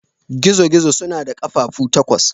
Gizo-gizo suna da ƙafafu takwas.